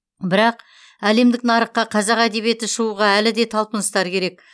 бірақ әлемдік нарыққа қазақ әдебиеті шығуға әлі де талпыныстар керек